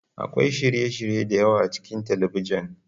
Akwai shirye-shirye da yawa a cikin talabijin.